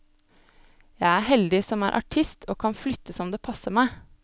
Jeg er heldig som er artist og kan flytte som det passer meg.